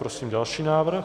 Prosím další návrh.